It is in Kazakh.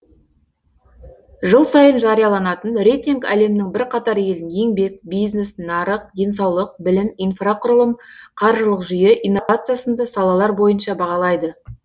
жыл сайын жарияланатын рейтинг әлемнің бірқатар елін еңбек бизнес нарық денсаулық білім инфрақұрылым қаржылық жүйе инновация сынды салалар бойынша бағалайды